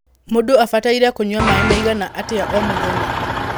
Mũndũ abataire kũnyua maĩ maigana atĩa o mũthenya?